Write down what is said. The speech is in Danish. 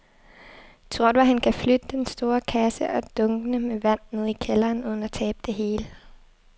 Tror du, at han kan flytte den store kasse og dunkene med vand ned i kælderen uden at tabe det hele?